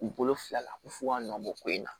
U bolo fila la f'u ka nɔ bɔ ko in na